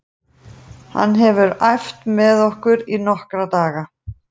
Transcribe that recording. Hann hefur æft með okkur í nokkra daga.